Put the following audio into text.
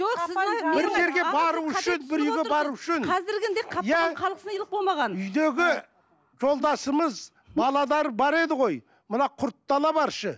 үйдегі жолдасымыз бар еді ғой мына құртты ала баршы